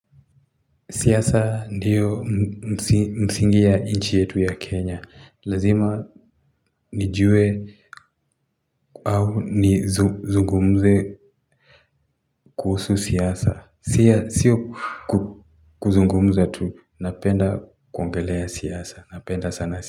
Siasa ndiyo msingi ya nchi yetu ya Kenya. Lazima nijue au nizungumze kuhusu siasa. Siyo kuzungumza tu. Napenda kuongelea siasa. Napenda sana siasa.